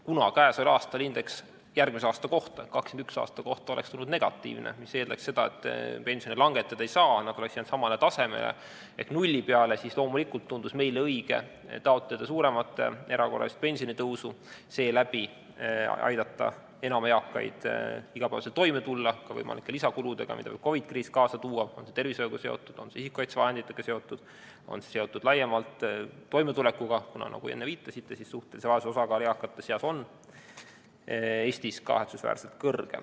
Kuna käesoleval aastal oleks indeks järgmise ehk 2021. aasta kohta tulnud negatiivne, mis tähendanuks seda, et kuivõrd pensioni langetada ei saa, oleks see jäänud samale tasemele ehk tõus nulli peale, siis loomulikult tundus meile õige taotleda suuremat erakorralist pensionitõusu ja seeläbi aidata enam eakaid igapäevaselt toime tulla, ka võimalike lisakuludega, mida COVID-i kriis kaasa tõi, olgu see seotud tervishoiu, isikukaitsevahendite või laiemalt toimetulekuga, sest, nagu isegi viitasite, suhtelise vaesuse osakaal Eesti eakate seas on kahetsusväärselt kõrge.